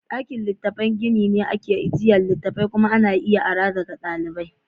Ɗakin littatafai gini ne da ake ajiye littattafai kuma ana iya ara daga ɗalibai.